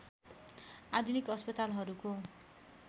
आधुनिक अस्पतालहरूको